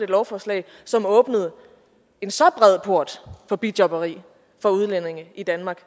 lovforslag som åbnede en så bred port for bijobberi for udlændinge i danmark